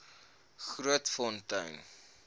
grootfontein